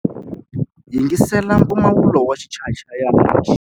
Yingisela mpfumawulo wa xichayachayani lexi.